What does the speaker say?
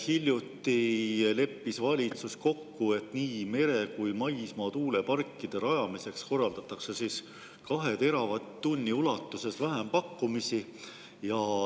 Hiljuti leppis valitsus kokku, et nii mere‑ kui ka maismaatuuleparkide rajamiseks korraldatakse 2 teravatt-tunni ulatuses vähempakkumisi.